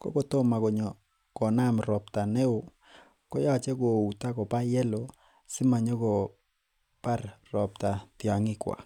kokotoma konaam robta koyoche kouuto kobaa yelo komabar robta tiong'ikuak